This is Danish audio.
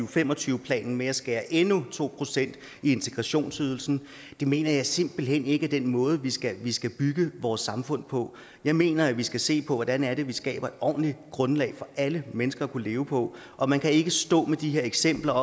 og fem og tyve planen med at skære endnu to procent i integrationsydelsen det mener jeg simpelt hen ikke er den måde vi skal vi skal bygge vores samfund på jeg mener at vi skal se på hvordan vi skaber et ordentligt grundlag for alle mennesker at kunne leve på og man kan ikke stå med de her eksempler